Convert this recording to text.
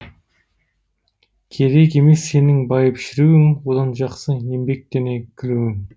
керек емес сенің байып шіруің одан жақсы еңбектене күлуің